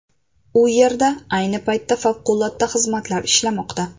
U yerda ayni paytda favqulodda xizmatlar ishlamoqda.